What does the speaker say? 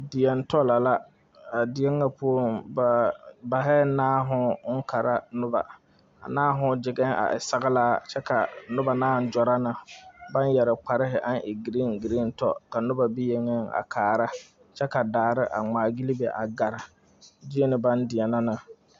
Deɛŋ to la la,a deɛŋa poɔ ba bareŋ naao ɔŋ Kara noba,a naao kyiŋɛŋ a e soglaa kyɛ ka noba gyɔroo ba yɛre kpare aŋ e green green to, ka noba be yengɛŋ a kara, kyɛ daare a gmaa gyele be a gara, kyeene baŋ deɛnɛ na ne